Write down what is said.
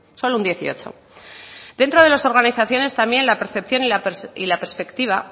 solo un dieciocho dentro de las organizaciones también la percepción y la perspectiva